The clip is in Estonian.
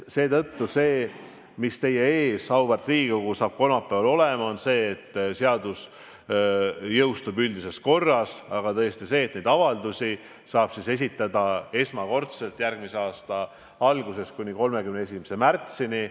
See seadus, mis teie ees, auväärt Riigikogu, saab kolmapäeval olema, jõustub üldises korras, aga neid avaldusi saab esitada esmakordselt järgmise aasta algusest kuni 31. märtsini.